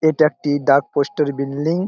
এটা একটি ডাক পোস্ট র বিল্ডিং ।